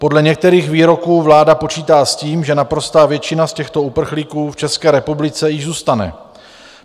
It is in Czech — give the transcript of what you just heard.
Podle některých výroků vláda počítá s tím, že naprostá většina z těchto uprchlíků v České republice již zůstane.